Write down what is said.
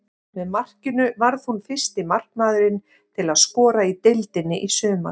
Með markinu varð hún fyrsti markmaðurinn til að skora í deildinni í sumar.